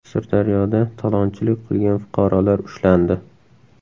Sirdaryoda talonchilik qilgan fuqarolar ushlandi.